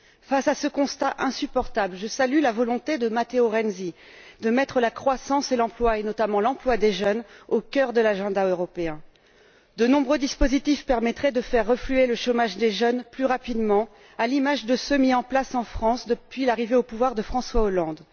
Face à ce constat insupportable, je salue la volonté de Matteo Renzi, de mettre la croissance et l'emploi, et notamment l'emploi des jeunes, au cœur de l'agenda européen. De nombreux dispositifs permettraient de faire refluer le chômage des jeunes plus rapidement à l'image de ceux mis en place en France depuis l'arrivée au pouvoir de François Hollande.